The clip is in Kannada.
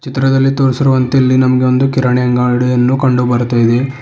ಚಿತ್ರದಲ್ಲಿ ತೋರಿಸಿರುವಂತೆ ನಮಗೆ ಒಂದು ಕಿರಣಿ ಅಂಗಡಿಯನ್ನು ಕಂಡು ಬರ್ತಾ ಇದೆ.